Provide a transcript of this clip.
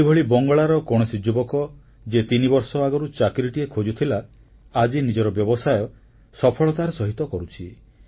ସେହିଭଳି ବଙ୍ଗଳାର କୌଣସି ଯୁବକ ଯିଏ ତିନିବର୍ଷ ଆଗରୁ ଚାକିରିଟିଏ ଖୋଜୁଥିଲା ଆଜି ନିଜର ବ୍ୟବସାୟ ସଫଳତାର ସହିତ କରୁଛି